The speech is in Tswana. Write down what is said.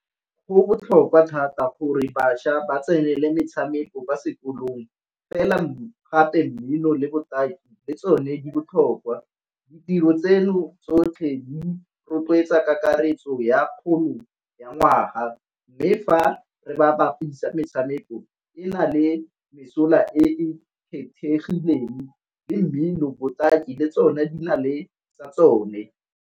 Go botlhokwa thata gore bašwa ba tsenele metshameko kwa sekolong, fela mme gape mmino le botaki le tsone di botlhokwa. Ditiro tseno tsotlhe di rotloetsa kakaretso ya ya ngwaga, mme fa re ba bapisa metshameko e na le mesola e e kgethegileng le mmino, botaki le tsone di na le sa tsone.